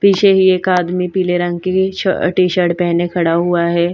पीछे ही एक आदमी पीले रंग की शर्ट टी-शर्ट पहने खड़ा हुआ है।